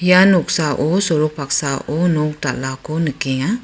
ia noksao sorok paksao nok dal·ako nikenga.